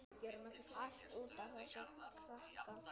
Allt út af þessum krakka.